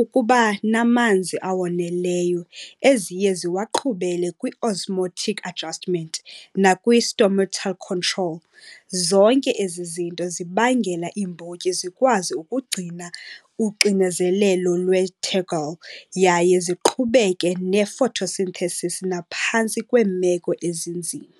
ukuba namanzi awoneleyo eziye ziwaqhubele kwi-osmotic adjustment nakwi-stomatal control. Zonke ezi zinto zibangela iimbotyi zikwazi ukugcina uxinezelelo yaye ziqhubeke ne-photosynthesis naphantsi kweemeko ezinzima.